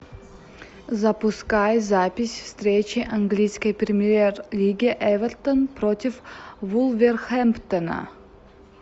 запускай запись встречи английской премьер лиги эвертон против вулверхэмптона